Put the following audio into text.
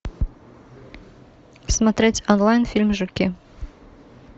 смотреть онлайн фильм жуки